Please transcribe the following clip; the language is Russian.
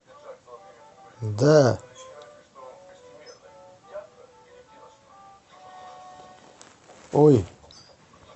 да ой